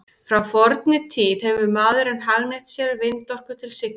Frá fornri tíð hefur maðurinn hagnýtt sér vindorku til siglinga.